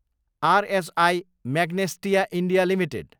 RHI Magnesita India Ltd